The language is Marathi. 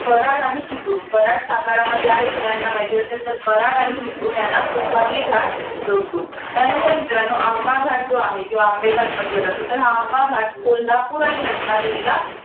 कऱ्हाड आणि चिपळूण. कऱ्हाड साताऱ्यामध्ये आहे. सगळ्यांना माहित असेल. तर कऱ्हाड आणि चिपळूण यांना कुंभार्ली घाट जोडतो. त्यानंतर मित्रांनो, आंबाघाट जो आहे. आंबेघाट म्हंटल जातं. तर हा आंबा घाट कोल्हापूर आणि रत्नागिरीला